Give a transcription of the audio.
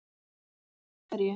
Páll: Af hverju?